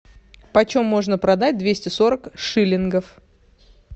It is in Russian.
почем можно продать двести сорок шиллингов